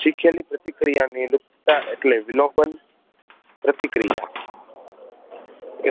શીખેલી પ્રતિક્રિયા અંગે નું સ્થાન ઍટલે વિલોબન પ્રતિક્રિયા